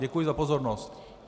Děkuji za pozornost.